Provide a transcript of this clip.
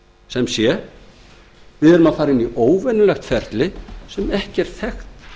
sem sé við erum að fara inn í óvenjulegt ferli sem ekki er þekkt